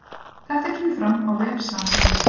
Þetta kemur fram á vef Samherja